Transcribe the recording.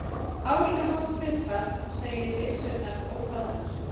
Álíka hátt hlutfall segir byssurnar óhlaðnar.